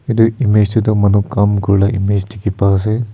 etu image te tu manu kam kuri lah image dikhi pai ase.